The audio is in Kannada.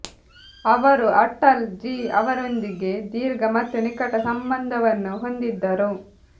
ಅವರು ಅಟಲ್ ಜಿ ಅವರೊಂದಿಗೆ ದೀರ್ಘ ಮತ್ತು ನಿಕಟ ಸಂಬಂಧವನ್ನು ಹೊಂದಿದ್ದರು